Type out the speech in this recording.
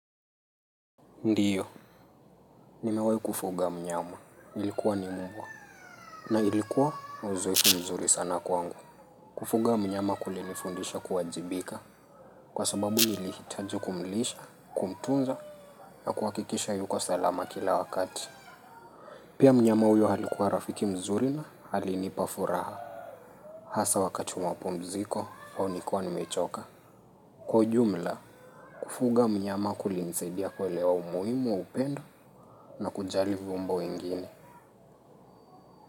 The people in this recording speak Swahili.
Ndiyo. Nimewai kufuga mnyama. Ilikuwa ni mbwa. Na ilikuwa mzuri sana kwangu. Kufuga mnyama kulinifundisha kuwajibika. Kwa sababu nilihitaji kumlisha, kumtunza, na kuhakikisha yuko salama kila wakati. Pia mnyama huyo alikuwa rafiki mzuri alinipa furaha. Hasa wakati wa mapumziko, au nikiwa nimechoka. Kwa ujumla, kufuga mnyama kulinisaidia kuelewa umuhimu wa upendo na kujali viumbo wengine.